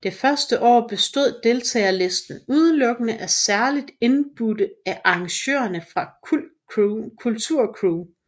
Det første år bestod deltagerlisten udelukkende af særligt indbudte af arrangørerne fra Kultur Crew